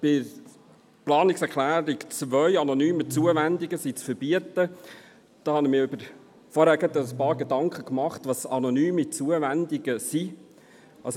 Was die Planungserklärung 2 betrifft, wonach anonyme Zuwendungen zu verbieten sind, habe ich mir vorhin ein paar Gedanken darüber gemacht, was denn anonyme Zuwendungen sind.